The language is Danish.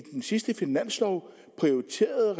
i den sidste finanslov prioriterede